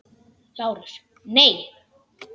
LÁRUS: Nei!